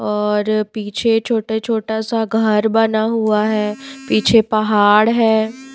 और पीछे छोटा छोटा सा घर बना हुआ है पीछे पहाड़ हैं।